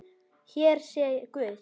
Hér sé guð!